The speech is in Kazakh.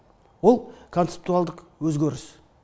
ол консептуалдық өзгеріс